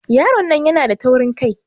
Yaron nan yana da taurin kai.